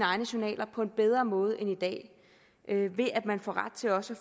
egne journaler på en bedre måde end i dag ved at man får ret til også